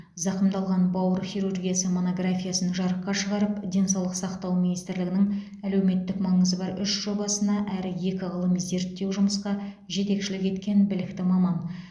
зақымдалған бауыр хирургиясы монографиясын жарыққа шығарып денсаулық сақтау министрлігінің әлеуметтік маңызы бар үш жобасына әрі екі ғылыми зерттеу жұмысқа жетекшілік еткен білікті маман